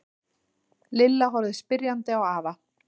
Lilla horfði spyrjandi á afa.